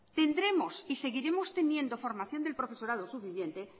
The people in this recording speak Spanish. tendremos y seguiremos teniendo formación del profesorado suficiente